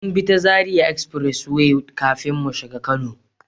Mun bi ta zaria Express way kafin mu shigo kano